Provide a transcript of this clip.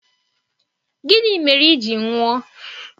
Gịnị mere i ji nwụọ!